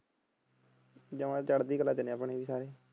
ਜਮਾ ਚੜ੍ਹਦੀ ਕਲਾ ਚ ਨੇ ਆਪਣੇ ਵੀ ਸਾਰੇ।